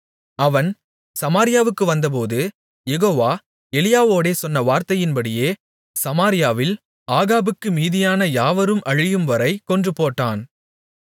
அவன் சமாரியாவுக்கு வந்தபோது யெகோவா எலியாவோடே சொன்ன வார்த்தையின்படியே சமாரியாவில் ஆகாபுக்கு மீதியான யாவரும் அழியும்வரை கொன்றுபோட்டான்